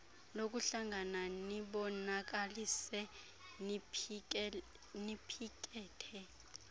lokuhlangana nibonakalise niphikethe